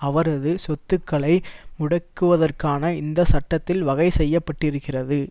அவரது சொத்துக்களை முடக்குவதற் கான இந்த சட்டத்தில் வகை செய்ய பட்டிருக்கிறது